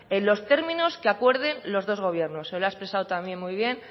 en los términos que acuerde los dos gobiernos se lo ha expresado también muy bien